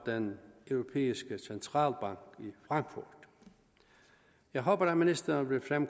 den europæiske centralbank i frankfurt jeg håber at ministeren vil